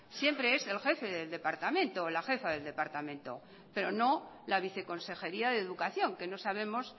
siempre es el jefe del departamento o la jefa del departamento pero no la viceconsejería de educación que no sabemos